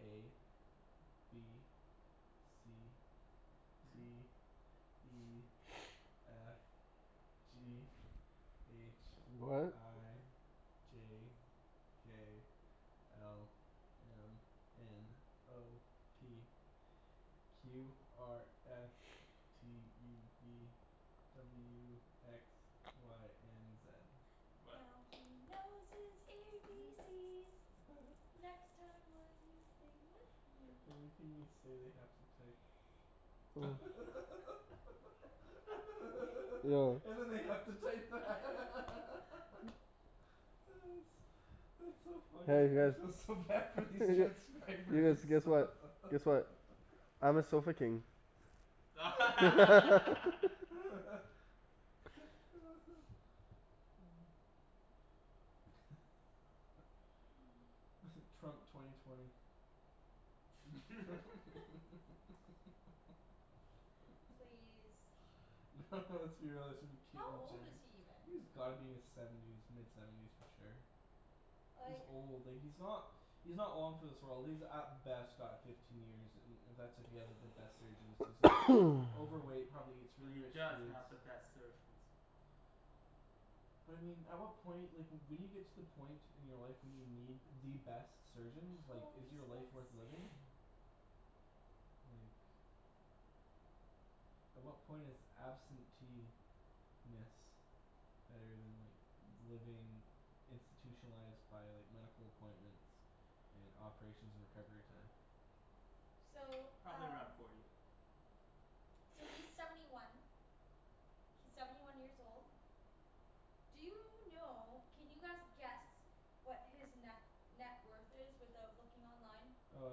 A. B. C. D. E. F. G. H. What? I. J. K. L. M. N. O. P. Q R S. T U V. W X. Y and Z. What? Now he knows his A B C's. Next time will you sing with me? Everything we say they have to type. Yo And then they have to type that. That's that's so funny. Hey you I feel guys. so bad for these You transcribers. guys. Guess what, guess what. I'm a sofa king. Mmm. Trump twenty twenty. Please. No let's be realistic, it's gonna How be Caitlyn old is Jenner. he even? He's gotta be in his seventies, mid seventies for sure. He's Like old, like he's not he's not long for this world. He's at best got fifteen years, and that's if he has the best surgeons, cuz he's overweight, probably eats But really he rich does foods. have the best surgeons. But I mean, at what point, like when you get to the point in your life when you need the best surgeons, like is Holy your life smokes. worth living? Like At what point is absentee - ness better than like living institutionalized by like medical appointments and operations and recovery time? So Probably around um forty. So he's seventy one. He's seventy one years old. Do you know, can you guys guess what his ne- net worth is without looking online? Uh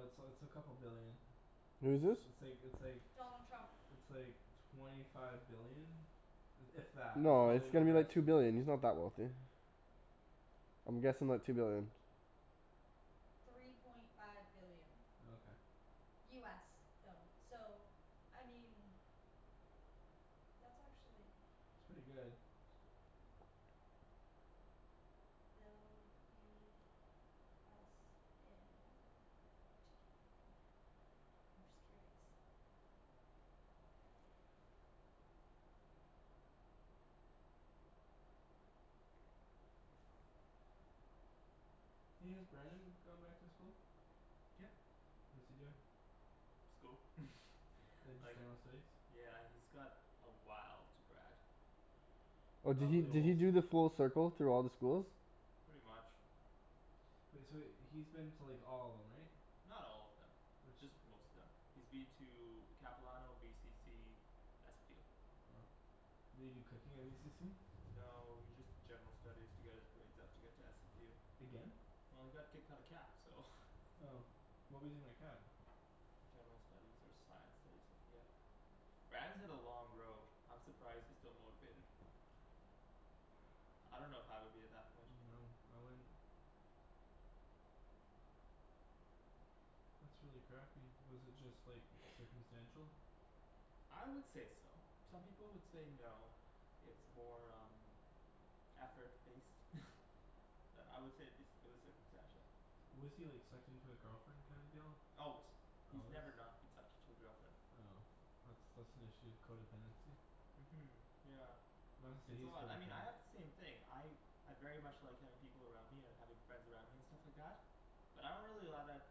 it's uh it's a couple billion. Who's this? It's like, it's like Donald Trump. it's like twenty five billion. If that. That's No, probably it's an gotta be like two overestimate. billion, he's not that wealthy. I'm guessing like two billion. Three point five billion. Oh okay. US though. So I mean that's actually It's pretty good. Bill US in uh to Canadian. I'm just curious. Hey, has Brandon gone back to school? Yeah. What's he doing? School. Like just Like general studies? Yeah he's got a while to grad. And Oh did he probably a did he whole do the full circle through all the schools? Pretty much. Wait, so he's been to like all of them, right? Not all of them. Just most of them. He's been to Capilano, VCC SFU Did he do cooking at VCC? No he just did general studies to get his grades up to get to SFU Again? Well he got kicked out of Cap so. Oh. What was he in at Cap? General studies or science studies, I forget. Brandon's had a long road. I'm surprised he's still motivated. I don't know if I would be at that point. No, I wouldn't. That's really crappy. Was it just like circumstantial? I would say so. Some people would say no. It's more um effort based. But I would say it'd be, it was circumstantial. Was he like sucked into a girlfriend kind of deal? Always. He's Always? never not been sucked into a girlfriend. Oh. That's that's an issue, codependency. Mhm yeah. It's all that, I mean I codependent. had the same thing, I I very much like having people around me and having friends around me and stuff like that. But I don't really allow that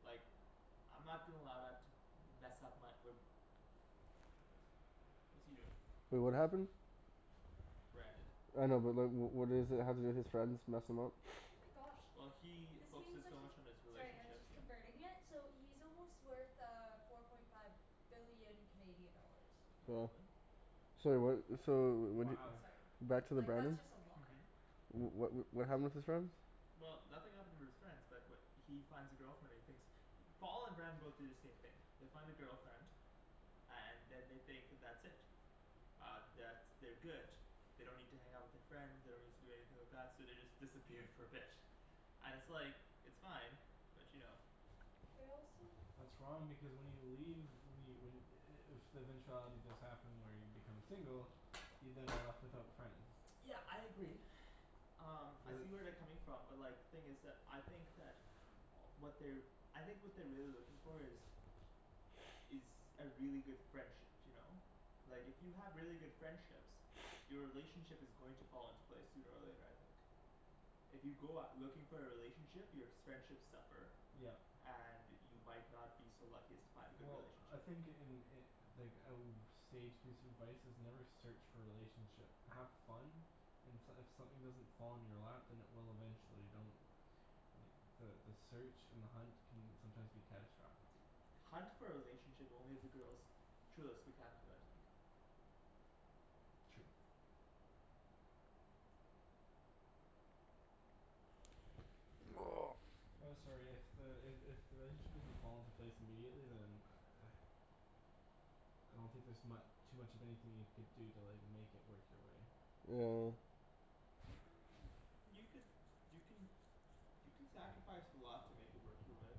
like I'm not gonna allow that to mess up my, wh- What's he doing? Wait, what happened? Brandon. I know but like, wh- what is it, how did his friends mess him up? Oh my gosh. Well he This means focuses that so he's much on his Sorry I was relationship, just yeah. converting it, so he's almost worth uh four point five billion Canadian dollars. Oh really? Sorry what, so wh- y- Sorry. Back to the Like that's Brandon? just a lot. What wh- what happened with his friends? Well, nothing happened with his friends, but wh- he finds a girlfriend, he thinks Paul and Brandon both do the same thing. They find a girlfriend. And then they think that's it. Um, that's, they're good. They don't need to hang out with their friends, they don't need to do anything like that, so they just disappear for a bit. And it's like, it's fine, but you know. They're also That's wrong because when you leave, when you when i- if the eventuality does happen where you become single you then are left without friends. Yeah I agree. Um I But see where they're coming from but like, the thing is that, I think that what they're I think what they're really looking for is is a really good friendship, you know? Like if you have really good friendships your relationship is going to fall into place sooner or later, I think. If you go out looking for a relationship, your s- friendships suffer. Yep. And you might not be so lucky as to find a good Well I relationship. think in i- like a w- sage piece of advice, is never search for a relationship. Have fun and s- if something doesn't fall in your lap, then it will eventually. Don't like, the the search and the hunt can sometimes be catastrophic. Hunt for a relationship only if the girl's truly spectacular, I think. True. I'm sorry, if the, i- if the relationship doesn't fall into place immediately, then I don't think there's mu- too much of anything you could do to like make it work your way. Yeah. You could, you can you can sacrifice a lot to make it work your way.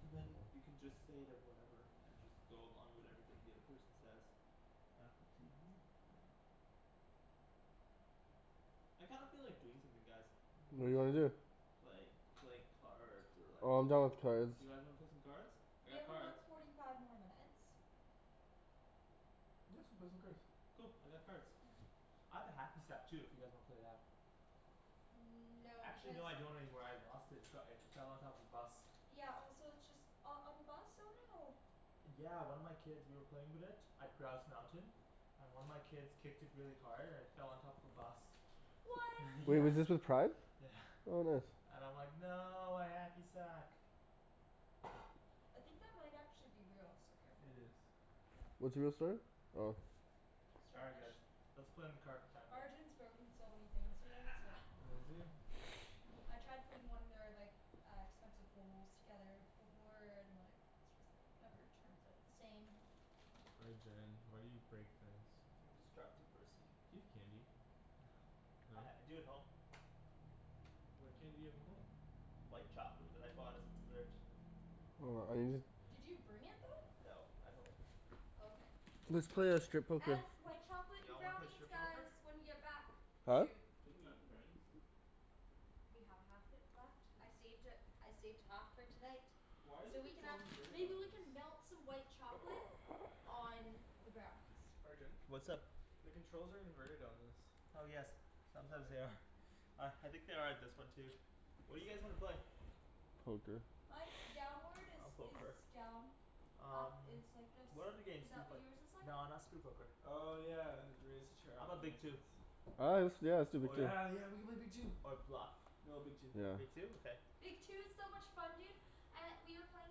But then You can just say that whatever, and just go along with everything the other person says. Apple TV Yeah. I kind of feel like doing something, guys. I do What do you wanna too. do? Like, like cards or like, Oh I'm yes done with cards. You guys wanna play some cards? We have about forty five more minutes. Yeah, let's go play some cards. Cool, I got cards. I have a hacky sack too if you guys wanna play that. Mmm no, Actually because no, I don't anymore, I lost it. It's got, it fell on top of a bus. Yeah also it's just, oh on the bus? Oh no. Yeah one of my kids, we were playing with it at Grouse Mountain. And one of my kids kicked it really hard and it fell on top of a bus. What? Wait, Yeah. was this with pride? Yeah. What bus? And I'm like "No, my hacky sack!" I think that might actually be real, so It careful. is. What's real, sorry? Oh. All right guys. Let's play in the Arjan's broken so many things here, it's like Has he? I tried putting one of their like, uh expensive bowls together before, and like just like, never turns out the same. Arjan, why do you break things? I'm a destructive person. Do you have candy? Uh No? I do at home. What candy do you have at home? White chocolate that I bought as a dessert. Hold on, I need to just Did you bring it though? No, at home. Okay. Let's play uh strip poker. And white chocolate Y'all wanna play brownies strip poker? guys, when you get back. Huh? Dude. Didn't we eat the brownies? We have half it left, I saved it, I saved half for tonight. Why are the So we can controls have, inverted maybe on we this? can melt some white chocolate on the brownies. Arjan? What's up? The controls are inverted on this. Oh yes, sometimes Why? they are. Uh I think they are on this one too. What do you guys wanna play? Poker. Mine's downward is, I'll poke is her. done. Up Um is like this, What other games is do you that what play? yours is like? No not strip poker. Oh yeah, raise the chair How up, 'bout that Big makes Two? sense. Oh yeah, let's do yeah let's do Big Two. Yeah yeah, we could play Big Two. Or Bluff. No, Big Two. Yeah. Big Two? Okay. Big Two is so much fun dude. Uh, we were playing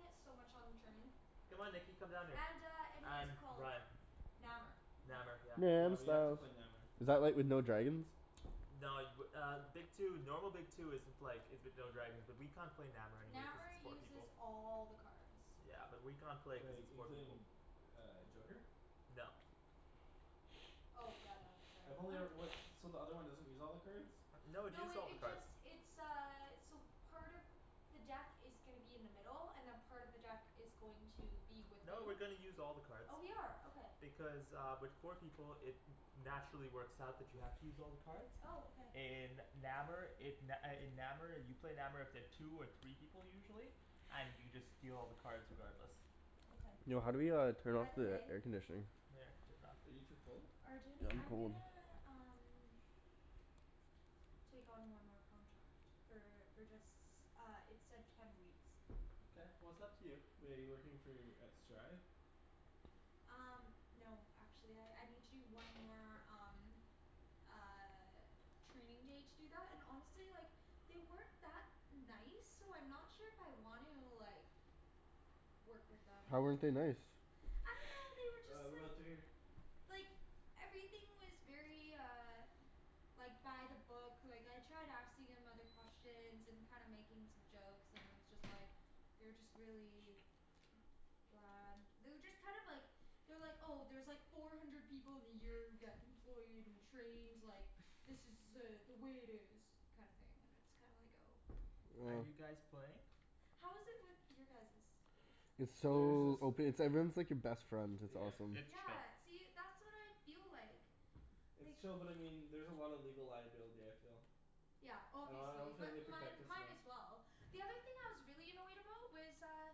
it so much on the train. Come on Nikki, come down here. And uh and what's it And called? Ryan. Nammer. Nammer, yeah. No, I Yeah we missed have to out. play Nammer. Is that like with no dragons? No, y- w- uh Big Two, normal Big Two isn't like, is with no dragons, but we can't play Nammer anyway cuz Nammer it's four uses people. all the cards. Yeah and we can't play because Like, it's four people. including uh joker? No. Oh yeah, no, sorry. I've only e- what, so the other one doesn't use all the cards? No, it No uses it all the it cards. just, it's uh, so part of the deck is gonna be in the middle, and then part of the deck is going to be with No, we're you. gonna use all the cards. Oh we are, okay. Because uh with four people, it naturally works out that you have to use all the cards. Oh, okay. In Nammer it, n- uh in Nammer you play Nammer with the two or three people usually. And you just deal all the cards regardless. Okay. Yo, how do we uh turn By off the the way air conditioning? Are you too cold? Arjan, Yeah, I'm I'm cold. gonna um take on one more contract. For for just, uh it said ten weeks. Mkay, well it's up to you. Wait, you're working for, at Strive? Um no actually, I I need to do one more, um uh training day to do that, and honestly, like they weren't that nice, so I'm not sure if I want to, like work with them. How weren't they nice? I dunno, they were Ah, just like remote's right here. like everything was very uh like by the book, like I tried asking him other questions and kinda making some jokes, and it was just like they were just really bland. They were just kind of like they're like, "Oh, there's like four hundred people in the year who get employed and trained, like, this is uh the way it is." kinda thing, and it's kinda like, oh. Are Oh. you guys playing? How is it with your guys's? It's There's just so ope- it's like everyone's like your best friend, it's Yeah. awesome. It's chill. Yeah, see, that's what I feel like. It's like chill but I mean, there's a lot of legal liability, I feel. Yeah, I obviously, don't feel like they but mine protect us mine enough. as well. The other thing I was really annoyed about was uh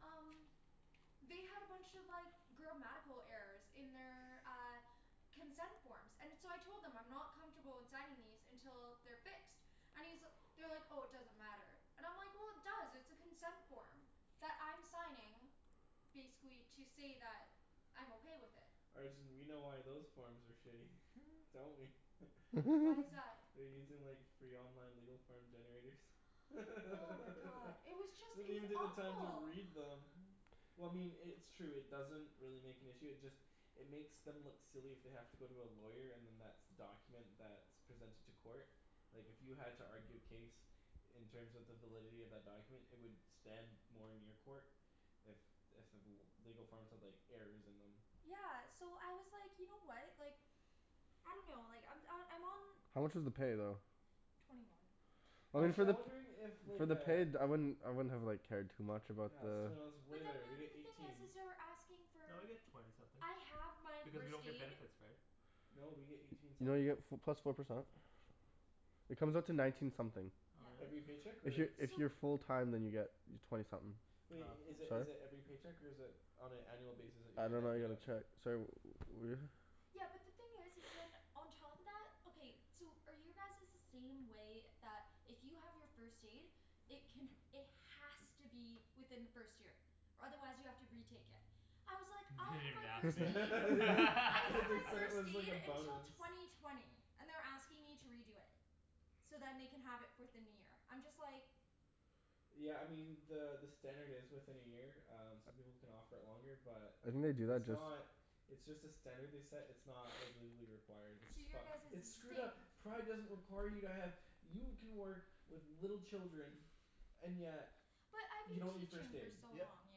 um they had a bunch of like grammatical errors in their, uh consent forms. And so I told them, I'm not comfortable in signing these until they're fixed. I mean, so, they were like "Oh, it doesn't matter." And I'm like "Well, it does, it's a consent form." That I'm signing basically to say that I'm okay with it. Arjan we know why those forms are shitty. Don't we? Why is that? They're using like free online legal form generators. They Oh my god. It was just don't it was even take the time to awful. read them. Well I mean i- it's true, it doesn't really make an issue, it just it makes them look silly if they have to go to a lawyer and then that's the document that's presented to court. Like if you had to argue a case in terms of the validity of that document, it would stand more in your court if if the l- legal forms had like errors in them. Yeah so I was like, you know what, like I dunno, like I'm uh, I'm on How much was the pay though? twenty one. I mean Actually for I'm the wondering if for like the uh pay d- I wouldn't, I wouldn't have like cared too much about Yeah it's the twenty one's way But then better. the We get other thing is eighteen. is they're asking No, you for get twenty something. I have my Because you first don't get aid. benefits, right? No, we get eighteen You know you something. get f- plus four percent. It comes out to nineteen something. Oh Yeah. really? Every paycheck If y- or? if So you're full time then you get twenty something. Wait, i- is it is Sorry? it every paycheck or is it on an annual basis that you I get don't that know I paid get a out? check, sorry wh- Yeah, but the thing is is then, on top of that, okay, so are your guys's the same way, that if you have your first aid it can, it has to be within the first year? Or otherwise you have to retake it. I was like, I Didn't have even my ask first me They aid. I have my said it first was like aid a until bonus. twenty twenty. And they're asking me to redo it. So then they can have it fourth in the year. I'm just like Yeah I mean, the the standard is within a year, um some people can offer it longer, but I think they do it's that just not it's just a standard they set, it's not like legally required, which is So your fucked. guys's It's is the screwed same. up! Pride doesn't require you to have, you can work with little children and yet But I've you been don't need first teaching for aid. so Yep. long, you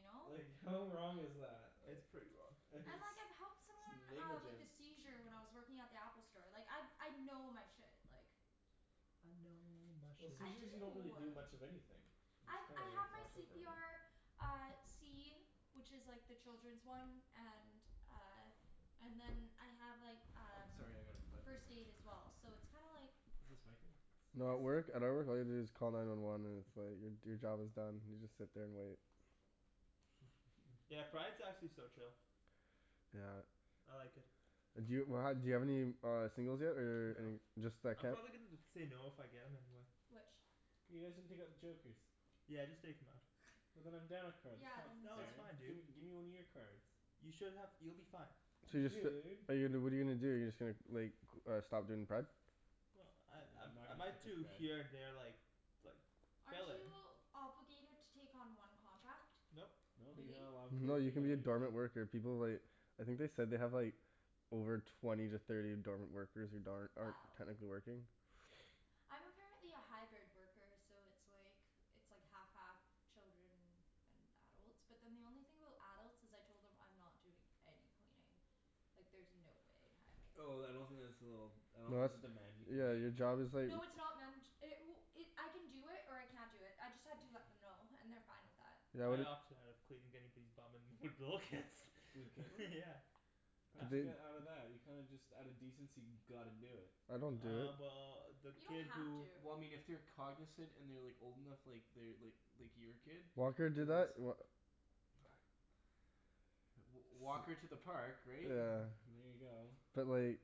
know? Like how wrong is that? It's pretty wrong. Like it's And like I've helped someone uh with a negligent. seizure when I was working at the Apple store. Like I I know my shit, like I know my Well, shit. I seizures you don't really do. do much of anything. You I just I kinda have like my watch c over p 'em. r Uh, C. Which is like the children's one, and uh and then I have like Oh um sorry I gotta plug this first in. aid as well. So it's kinda like Is this my thing? No, at Yep. work, at our work all you have to do is call nine one one and it's like your job is done, you just sit there and wait. Yeah, Pride's actually so chill. Yeah. I like it. D'you do you have any uh singles yet or No. any, just that I'm kid? probably gonna end up saying no if I get him anyway. Which? You guys didn't take out the jokers. Yeah just take 'em out. And then I'm down a card, that's Yeah, not then No it's it's fair. um fine dude. Gimme gimme one of your cards. You should have, you'll be fine. So you're just f- Dude. but you what are you gonna do, you're just gonna like c- stop doing pride? Well, I I I'm not I might do here and gonna there, like like Aren't fill in. you obligated to take on one contract? Nope. No, you're Really? not allowed to No, you take can on be a anything. dormant worker, people like I think they said they have like over twenty to thirty dormant workers, who darn- aren't Wow. technically working. I'm apparently a hybrid worker, so it's like it's like half half children and adults. But then the only thing about adults is I told them I'm not doing any cleaning. Like there's no way in heck. Oh then I don't think that's a little, I don't No think that's that's a demand you can Yeah make. your job is like No, it's not man- ch- it w- it, I can do it, or I can't do it, I just had to let them know and they're fine with that. Yeah what I do opted out of cleaning anybody's bum and with little kids. With Kaitlyn? Yeah. How did you Do they get out of that? You kinda just out of decency gotta do it. I don't do it. Uh well the You kid don't have who to. Well I mean if they're cognizant and they're like old enough, like they're like like your kid. Walker do Then that's that? Wha- w- walk her to the park, right? Yeah. And there you go. But like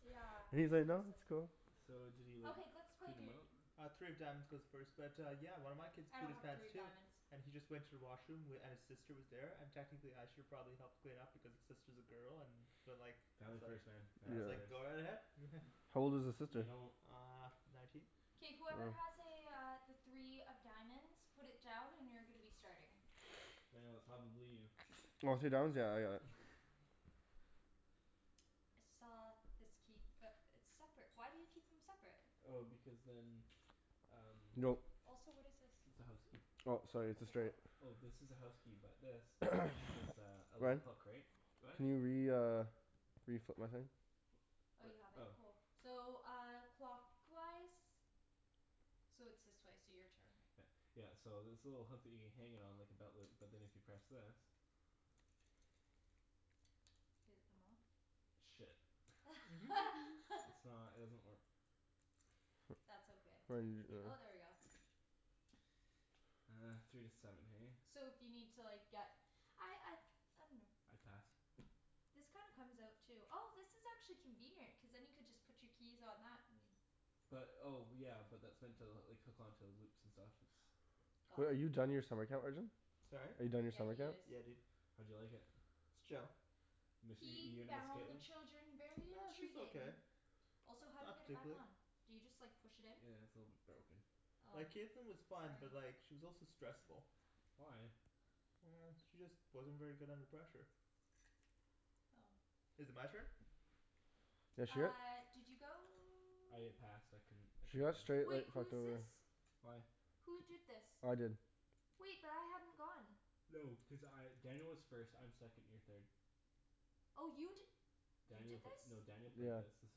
Yeah, And he's like "No, seriously. that's cool." So did he like Okay, let's play, clean them dude. out? Uh three of diamonds goes first but yeah, one of my kids I pooed don't his have pants three of too. diamonds. And he just went to the washroom, w- and his sister was there, and technically I should have probably helped clean up because his sister's a girl, and but like I Family was like, first man, I family was like first. "Go ahead." How old was his No, you sister? don't Uh nineteen? K whoever has Oh. a uh, the three of diamonds, put it down and you're gonna be starting. Daniel, it's probably you. Oh, three of diamonds? Yeah I got it. I saw this key, but it's separate. Why do you keep them separate? Oh because then um Go. Also what is this? it's a house key. Oh sorry it's a It's a straight. what? Oh, this is a house key, but this is a, a little Ryan. hook, right? Go ahead. Can you re- uh reflip my thing? Oh you have it? Oh. Cool. So uh, clockwise? So it's this way, so your turn. Yeah. Yeah, so this little hook that you hang it on like a belt loop. But then if you press this Did it come off? Shit. I's not, it doesn't work. That's okay. Oh, there we go. Uh, three to seven hey? So if you need to like, get I I I dunno. I pass. This kinda comes out too. Oh this is actually convenient, cuz then you could just put your keys on that, and But, oh yeah, but that's meant to like hook onto loops and stuff, it's Wait, Got are it. you done your summer camp, Arjan? Sorry? Are you done your Yeah, summer he camp? is. Yeah dude. How'd you like it? It's chill. Miss, y- He you gonna miss found the Kaitlyn? children very She's okay. intriguing. Also how do you Not get it back particularly. on? Do you just like push it in? Yeah, it's a little bit broken. Oh. Like Kaitlyn was fine, Sorry. but like she was also stressful. Why? She just wasn't very good under pressure. Oh. Is it my turn? Yeah shit. Uh did you go? I passed. I couldn't, I She couldn't got go. straight Wait, like who fucked is over. this? Why? Who did this? I did. Wait, but I hadn't gone. No, because I, Daniel was first, I'm second, you're third. Oh you d- You Daniel did p- this? no Daniel played this. This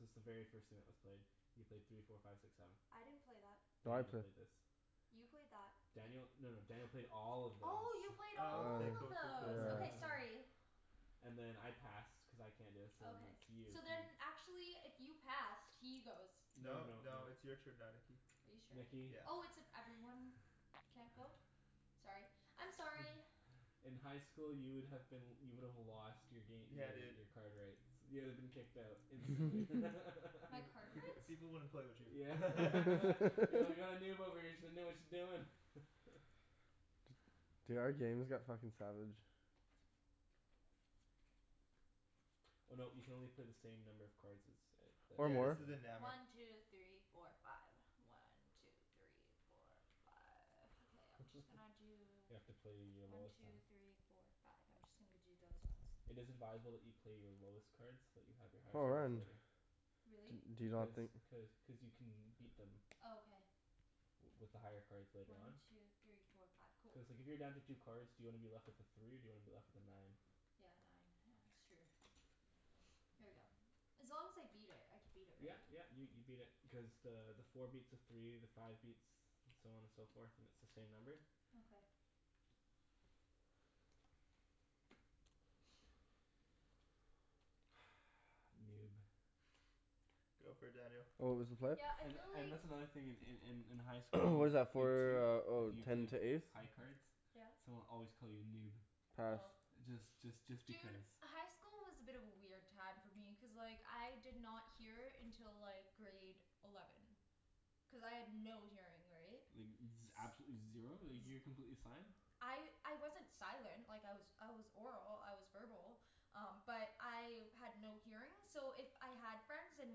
is the very first thing that was played. You played three four five six seven. I didn't play that. No, I Daniel played. played this. You played that. Daniel, no no Daniel played all of this. Oh, you played Oh Oh. okay all of cool cool cool. those. Yeah. Okay sorry. And then I passed cuz I can't, so then Okay. it's you. So then actually if you passed, he goes. No No no no. no it's your turn now, Nikki. Are you sure? Nikki. Yeah. Oh, it's if everyone can't go? Sorry. I'm sorry. In high school you would have been, you would have lost your gam- , Yeah your dude. your card rights. You would have been kicked out instantly. My Peop- card people rights? people wouldn't play with you. Yeah. Yeah we got a noob over here, she doesn't know what she's doing. Dude, our game has got fucking savage. Oh no, you can only play the same number of cards as, a Or Yeah this more. a isn't Nammer. One two three four five. One two three four five. Okay, I'm just gonna do You have to play your One lowest, two three uh four five. I'm just gonna g- do those ones. It is advisable that you play your lowest cards, so that you have your highest Oh cards man. later. Really? D- do you not Because, think cuz cuz you can beat them Oh okay. w- with the higher cards later One on. two three four five. Cool. Cuz like if you're down to two cards, do you wanna be left with a three or do you wanna be left with a nine? Yeah, nine. Yeah, that's true. Here we go. As long as I beat it, I can beat it Yeah right? yeah, you you beat it, because the the four beats a three, the five beats, so on and so forth, and it's the same number. Okay. Noob. Go for it Daniel. What was the play? Yeah, I And feel and like that's another in in in in high school, What is that Big Two for, oh if you ten played to ace? high cards Yes? someone would always call you noob. Pass. Oh. Just just just Dude, because. high school was a bit of a weird time for me, cuz like, I did not hear until like grade eleven. Cuz I had no hearing, right? Like z- absolutely zero? Like you were completely sign? I I wasn't silent, like I was I was oral, I was verbal. Um but I had no hearing, so if I had friends, and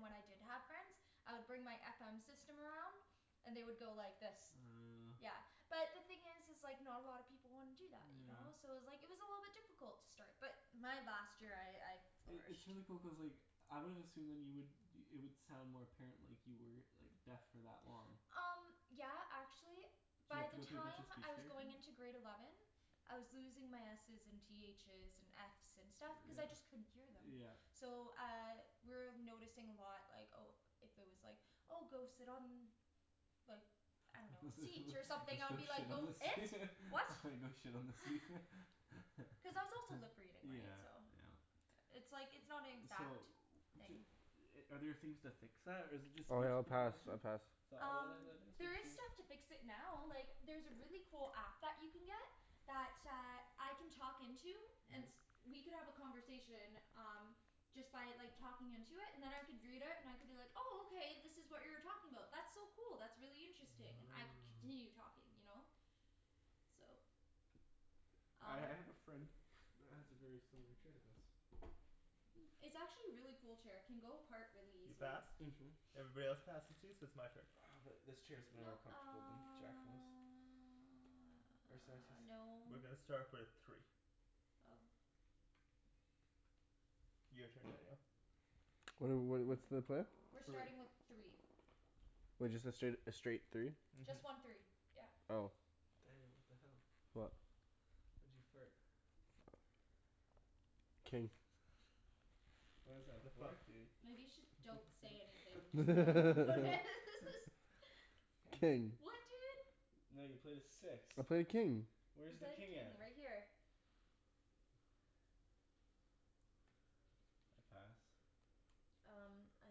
when I did have friends I would bring my FM system around. And they would go like this. Uh Yeah. But the thing is is like, not a lot of people wanna do that, you know? So Yeah. it was like, it was a little bit difficult to start. But my last year I, I I- it's flourished. really cool, cuz like I wouldn't assume then you would, it would sound more apparent like you were like deaf for that long. Um yeah, actually Did you by have to the go through a bunch of time speech I was therapy? going into grade eleven I was losing my S's and T H's and F's and stuff cuz I Yeah. just couldn't hear them. Yeah. So uh, we were noticing a lot like, oh if if there was like, oh go sit on like I dunno, a let's go seat or something, I would be like, shit on "Go the seat. it? What?" Go shit on the seat. Cuz I was also lip reading, right? Yeah, So yeah. It's like, it's not an So exact d- are there things to fix that? Or is it just Oh speech yeah, I'll pass, pathology? I pass. Um, there is stuff to fix it now, like there's a really cool app that you can get that uh, I can talk into and Mhm. we could have a conversation, um just by like talking into it, and then I could read it and I could be like, oh okay this is what you were talking about. That's so cool, that's really interesting. I could Oh. continue talking, you know? So I Um I have a friend that has a very similar chair to this. Hmm. It's actually a really cool chair, it can go apart really You easily. passed? Mhm. Everybody else passes too? So it's my turn. Uh but this chair's way No, more comfortable than Jacklyn's. uh no. We're gonna start with three. Oh. Your turn Daniel. What are wh- what's the play? We're Three. starting with three. Wait, just the straight, a straight three? Mhm. Just one three, yeah. Oh. Daniel, what the hell? What? Why'd you fart? King. What is that, a The fuck, four? dude. Maybe you should, don't say anything, just no one will notice. King. What dude? No, you played a six. I played king. You Where's the played a king at? king, right here. Pass. Um I,